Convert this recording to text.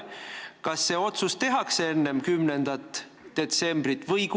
Kas see otsus tehakse enne 10. detsembrit?